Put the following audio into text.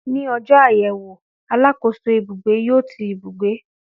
Ní ọjọ́ àyẹ̀wò, alákòóso ibugbe yó ti ibùgbé